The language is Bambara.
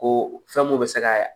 Ko fɛn mun bɛ se ka